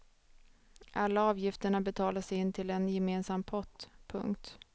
Alla avgifterna betalas in till en gemensam pott. punkt